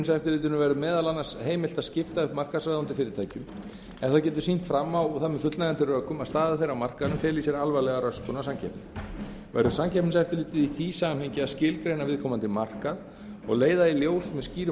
að samkeppniseftirlitinu verður meðal annars heimilt að skipta upp markaðsráðandi fyrirtækjum ef það getur sýnt fram á það með fullnægjandi rökum að staða þeirra á markaðnum feli í sér alvarlega röskun á samkeppni verður samkeppniseftirlitið í því samhengi að skilgreina viðkomandi markað og leiða í ljós með skýrum